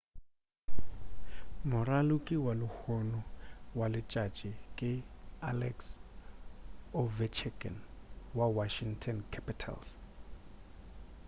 moraloki wa lehono wa letšatši ke alex ovechkin wa washington capitals